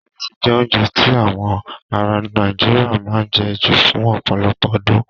Irẹsi jẹ́ oúnjẹ tí awọn aráa Nàìjíríà máa ń jẹ ju fún ọ̀pọ̀lọpọ̀ ọdún.